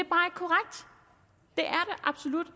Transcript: absolut